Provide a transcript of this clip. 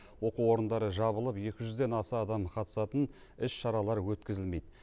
оқу орындары жабылып екі жүзден аса адам қатысатын іс шаралар өткізілмейді